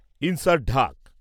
insert ঢাক